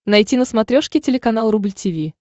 найти на смотрешке телеканал рубль ти ви